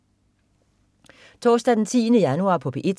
Torsdag den 10. januar - P1: